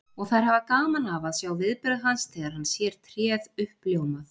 Og þær hafa gaman af að sjá viðbrögð hans þegar hann sér tréð uppljómað.